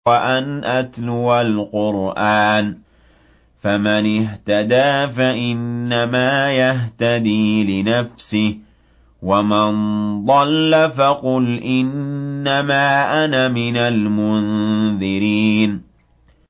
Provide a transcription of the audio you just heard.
وَأَنْ أَتْلُوَ الْقُرْآنَ ۖ فَمَنِ اهْتَدَىٰ فَإِنَّمَا يَهْتَدِي لِنَفْسِهِ ۖ وَمَن ضَلَّ فَقُلْ إِنَّمَا أَنَا مِنَ الْمُنذِرِينَ